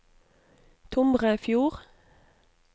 Tomrefjord